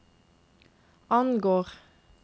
angår